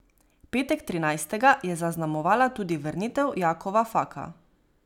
Petek trinajstega je zaznamovala tudi vrnitev Jakova Faka.